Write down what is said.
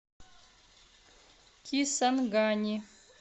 кисангани